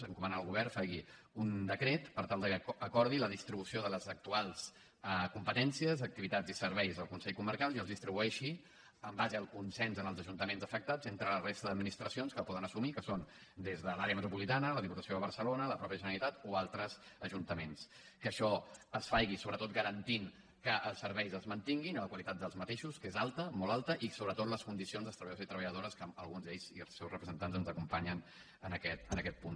encomanar al govern que faci un decret per tal de que acordi la distribució de les actuals competències activitats i serveis del consell comarcal i els distribueixi en base al consens en els ajuntaments afectats entre la resta d’administracions que ho poden assumir que són des de l’àrea metropolitana la diputació de barcelona la mateixa generalitat o altres ajuntaments que això es faci sobretot garantint que els serveis es mantinguin la qualitat d’aquests que és alta molt alta i sobretot les condicions dels treballadors i treballadores que alguns d’ells i els seus representants ens acompanyen en aquest punt